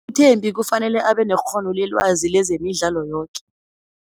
UThembi kufanele abe nekghono lelwazi lezemidlalo yoke.